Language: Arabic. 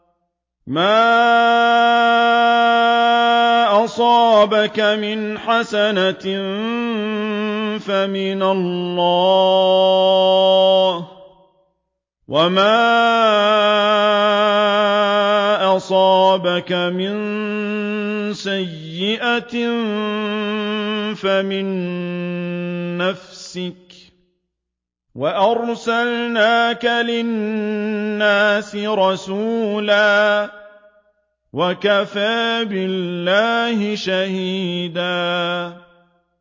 مَّا أَصَابَكَ مِنْ حَسَنَةٍ فَمِنَ اللَّهِ ۖ وَمَا أَصَابَكَ مِن سَيِّئَةٍ فَمِن نَّفْسِكَ ۚ وَأَرْسَلْنَاكَ لِلنَّاسِ رَسُولًا ۚ وَكَفَىٰ بِاللَّهِ شَهِيدًا